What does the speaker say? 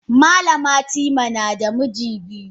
Malama timi nada miji biyu.